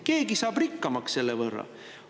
Keegi saab rikkamaks selle võrra.